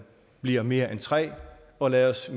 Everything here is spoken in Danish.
bliver mere end tre og lad os